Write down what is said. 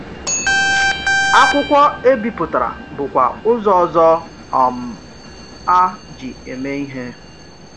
Akwụkwọ e bipụtara bụkwa ụzọ ọzọ um a ji eme ihe.